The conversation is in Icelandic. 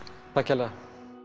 takk kærlega